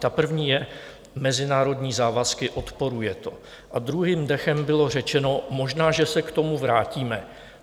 Ta první je - mezinárodní závazky, odporuje to, a druhým dechem bylo řečeno - možná že se k tomu vrátíme.